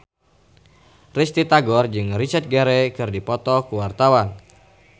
Risty Tagor jeung Richard Gere keur dipoto ku wartawan